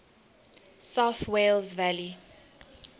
south wales valleys